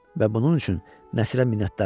Və bunun üçün Nəsrə minnətdar idi.